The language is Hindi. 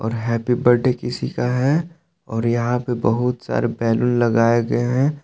हैप्पी बर्डे किसी का है और यहां पे बहुत सारे बैलून लगाए गए हैं।